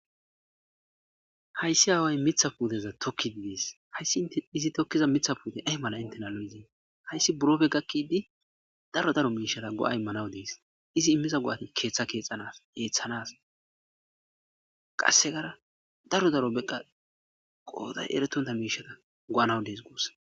hayssi aaway mitha puuteza tokki gies hayssi izi tokkiza mitha puute ay mala intena lo7yzie hayssi burofe gakkidi daro daro miishara go7a immanawu dees izi immiza go7ati keeththa keexanas eeththanas qassegara daro daro beqqa qooday erettonta miishara go7anawu dees guus